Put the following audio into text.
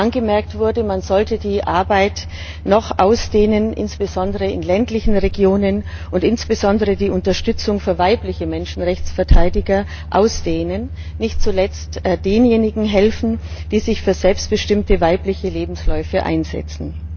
Angemerkt wurde, man sollte die Arbeit noch ausdehnen, insbesondere in ländlichen Regionen, und insbesondere die Unterstützung für weibliche Menschenrechtsverteidiger ausdehnen und nicht zuletzt denjenigen helfen, die sich für selbstbestimmte weibliche Lebensläufe einsetzen.